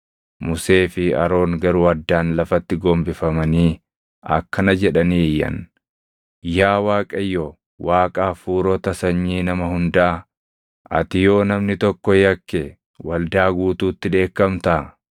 Musee fi Aroon garuu addaan lafatti gombifamanii akkana jedhanii iyyan; “Yaa Waaqayyo Waaqa hafuurota sanyii nama hundaa, ati yoo namni tokko yakke waldaa guutuutti dheekkamtaa?”